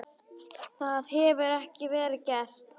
Það hefur ekki verið gert.